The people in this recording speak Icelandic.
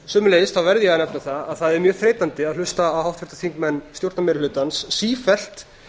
sömuleiðis verð ég að nefna það að það er mjög þreytandi að hlusta á háttvirta þingmenn stjórnarmeirihlutans sífellt